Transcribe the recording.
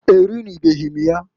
Erinubeghi m ya.